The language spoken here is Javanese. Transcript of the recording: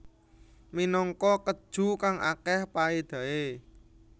Minangka keju kang akeh paedahe